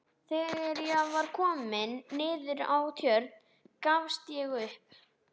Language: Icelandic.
Þegar ég var kominn niður að Tjörn gafst ég upp.